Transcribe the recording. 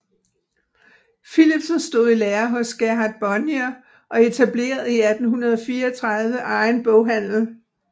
Philipsen stod i lære hos Gerhard Bonnier og etablerede i 1834 egen boghandel